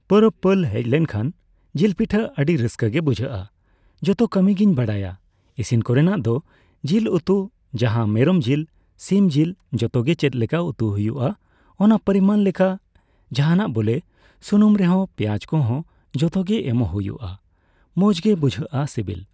ᱯᱚᱨᱚᱵᱽ ᱯᱟᱹᱞ ᱦᱮᱡᱞᱮᱱᱠᱷᱟᱱ ᱡᱤᱞᱯᱤᱴᱷᱟᱹ ᱟᱹᱰᱤ ᱨᱟᱹᱥᱠᱟᱹᱜᱮ ᱵᱩᱡᱷᱟᱹᱜᱼᱟ ᱡᱚᱛᱚ ᱠᱟᱹᱢᱤᱜᱤᱧ ᱵᱟᱲᱟᱭᱟ ᱤᱥᱤᱱ ᱠᱚᱨᱮᱟᱜ ᱫᱚ ᱡᱮᱞ ᱩᱛᱩᱠᱚ ᱡᱟᱦᱟᱸ ᱢᱮᱨᱚᱢ ᱡᱮᱞ ᱥᱤᱢᱡᱮᱞ ᱡᱷᱚᱛᱚᱜᱮ ᱪᱮᱫᱞᱮᱠᱟ ᱩᱛᱩ ᱦᱳᱭᱳᱜᱼᱟ ᱚᱱᱟ ᱯᱚᱨᱤᱢᱟᱱ ᱞᱮᱠᱟ ᱡᱟᱦᱟᱱᱟᱜ ᱜᱮ ᱵᱚᱞᱮ ᱥᱩᱱᱩᱢ ᱨᱮᱦᱚᱸ ᱯᱮᱸᱭᱟᱡᱽ ᱠᱚᱦᱚᱸ ᱡᱷᱚᱛᱚᱜᱮ ᱮᱢᱚᱜ ᱦᱳᱭᱳᱜᱼᱟ ᱢᱚᱡᱽᱜᱮ ᱵᱩᱡᱷᱟᱹᱜᱼᱟ ᱥᱮᱵᱮᱞ ᱾